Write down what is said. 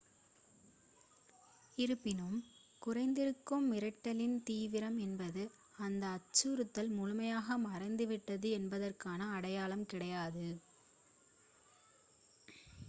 இருப்பினும் குறைந்திருக்கும் மிரட்டலின் தீவிரம் என்பது அந்த அச்சுறுத்தல் முழுமையாக மறைந்துவிட்டது என்பதற்கான அடையாளம் கிடையாது